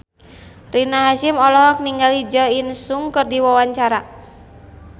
Rina Hasyim olohok ningali Jo In Sung keur diwawancara